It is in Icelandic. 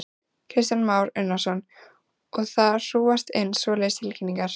Kristján Már Unnarsson: Og það hrúgast inn svoleiðis tilkynningar?